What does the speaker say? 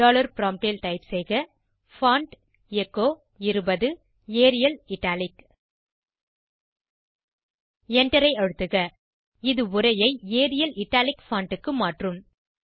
dollar prompt ல் type செய்க font echo 20 Arial italic Enter ஐ அழுத்துக இது உரையை ஏரியல் இட்டாலிக் பான்ட் க்கு மாற்றும்